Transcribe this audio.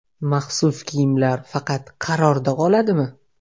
Maxsus kiyimlar faqat qarorda qoladimi?.